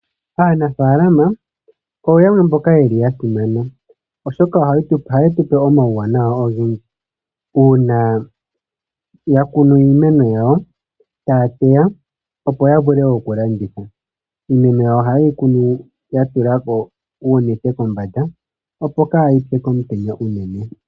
Aanafalama oyo yamwe mboka yeli yasimana oshoka ohaye tupe omawuwanawa ogendji una ya kunu iimeno yawo taya teya, opo ya vule oku landitha. Iimeno yawo ohayeyi kunu ya tula uunete kombanda opo kayi tse komutenya shinene.